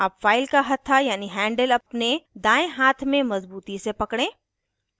अब फ़ाइल का हथ्था यानी हैंडल अपने दायें हाथ में मज़बूती से पकड़ें